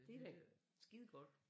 Det da skide godt